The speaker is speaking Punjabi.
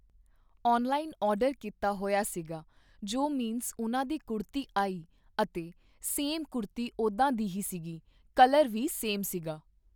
ਔਨਲਾਈਨ ਔਡਰ ਕੀਤਾ ਹੋਇਆ ਸੀਗਾ ਜੋ ਮਿਂਸ ਉਹਨਾਂ ਦੀ ਕੁੜਤੀ ਆਈ ਅਤੇ ਸੇਮ ਕੁੜਤੀ ਓਦਾਂ ਦੀ ਸੀਗੀ ਕਲਰ ਵੀ ਸੇਮ ਸੀਗਾ।